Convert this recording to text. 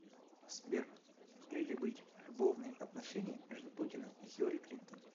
сбер могли ли быть любовные отношения между путиным и хилари клинтон